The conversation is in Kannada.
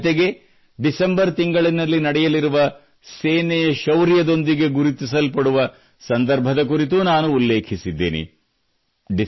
ಹಾಗೂ ಜತೆಗೇ ಡಿಸೆಂಬರ್ ತಿಂಗಳಲ್ಲಿ ನಡೆಯಲಿರುವ ಸೇನೆಯ ಶೌರ್ಯದೊಂದಿಗೆ ಗುರುತಿಸಲ್ಪಡುವ ಸಂದರ್ಭದ ಕುರಿತೂ ನಾನು ಉಲ್ಲೇಖಿಸಿದ್ದೇನೆ